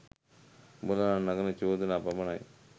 උඹලා නඟන චෝදනා පමණයි.